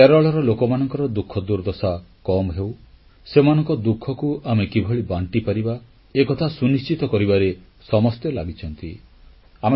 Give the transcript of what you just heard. କେରଳର ଲୋକମାନଙ୍କ ଦୁଃଖଦୁର୍ଦ୍ଦଶା କମ୍ ହେଉ ସେମାନଙ୍କ ଦୁଃଖକୁ ଆମେ କିଭଳି ବାଂଟିପାରିବା ଏକଥା ସୁନିଶ୍ଚିତ କରିବାରେ ସମସ୍ତେ ଲାଗିଛନ୍ତି